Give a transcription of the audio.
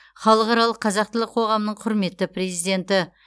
халықаралық қазақ тілі қоғамының құрметті президенті